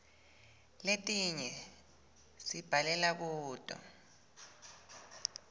letinye sibhalela kuto